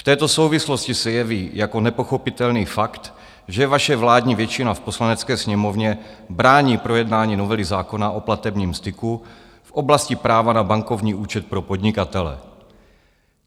V této souvislosti se jeví jako nepochopitelný fakt, že vaše vládní většina v Poslanecké sněmovně brání projednání novely zákona o platebním styku v oblasti práva na bankovní účet pro podnikatele.